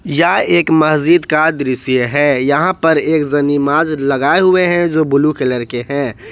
यह एक मस्जिद का दृश्य है यहां पर एक जनीमाज लगाए हुए हैं जो ब्लू कलर के हैं।